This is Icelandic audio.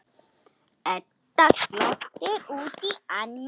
Edda glottir út í annað.